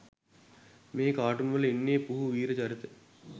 මේ කාටුන්වල ඉන්න පුහු වීර චරිත